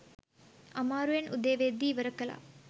අමාරුවෙන් උදේ වෙද්දී ඉවර කළා